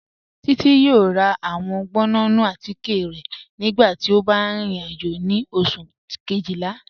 Títi yọ̀ọ̀ rà awọn gbọ̀nnù àtìké rẹ̀ nígbàtí ó bá rìn ìrìn-àjò ni Ọṣù̀ kejìlá.